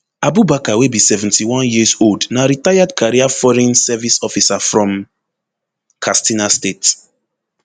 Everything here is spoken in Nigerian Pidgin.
abubakar wey be seventy-one years old na retired career foreign service officer from katsina state